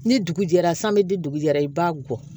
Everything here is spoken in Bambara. Ni dugu jɛra san bɛ di dugu jɛra i b'a gɔ